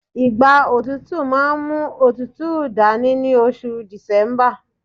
igba otutu ma n mu otutu dani ni oṣù december